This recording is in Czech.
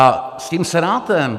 A s tím Senátem.